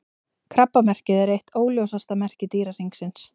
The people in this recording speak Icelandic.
Krabbamerkið er eitt óljósasta merki Dýrahringsins.